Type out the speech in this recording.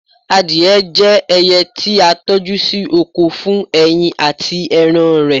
adìye je ẹyẹ ti a toju sí oko fún ẹyin ati eran rẹ